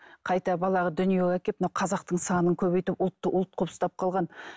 қайта баланы дүниеге әкеп мына қазақтың санын көбейтіп ұлтты ұлт қылып ұстап қалған